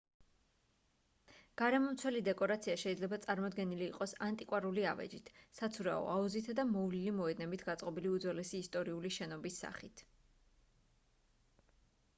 გარემომცველი დეკორაცია შეიძლება წარმოდგენილი იყოს ანტიკვარული ავეჯით საცურაო აუზითა და მოვლილი მოედნებით გაწყობილი უძველესი ისტორიული შენობის სახით